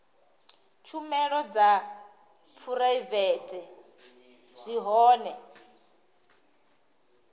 tshumelo dza phuraivete zwi hone